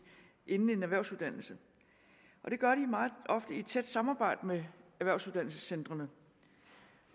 inden en erhvervsuddannelse og det gør de meget ofte i et tæt samarbejde med erhvervsuddannelsescentrene